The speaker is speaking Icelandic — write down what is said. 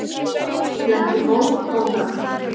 Fletti bók bókanna.